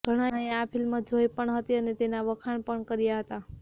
ઘણાએ આ ફિલ્મ જોઈ પણ હતી અને તેનાં વખાણ પણ કર્યાં હતાં